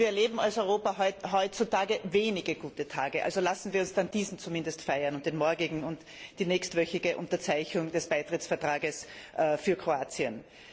Wir erleben als Europa heutzutage wenige gute Tage, also lassen Sie uns zumindest diesen feiern, und den morgigen und die nächstwöchige Unterzeichnung des Beitrittsvertrags Kroatiens.